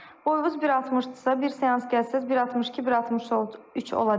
Boyunuz 1.60-dırsa, bir seans gəlsəniz 1.62, 1.63 olacaq.